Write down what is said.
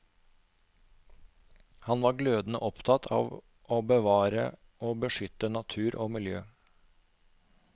Han var glødende opptatt av å bevare og beskytte natur og miljø.